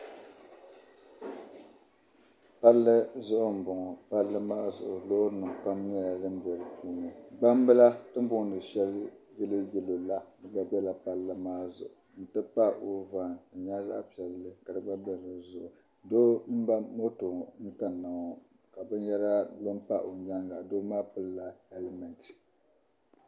Palli zuɣu n bɔŋɔ palli maa zuɣu lɔɔrinim pam nyɛla din be di zuɣu, gbam bila tini bɔɔni shɛli yelɔw yelɔw la bela palli maa zuɣu, n ti pahi ɔuvan di nyɛla zaɣi piɛli kadi gba be di zuɣu, doo n ba mɔtɔ kaniŋɔ na ka bɛn yara lɔ n pa ɔ nyaaŋa, doo maa pilila helment.